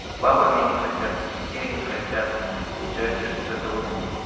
с бабами они хотят и детей они хотят и получается что вот это вот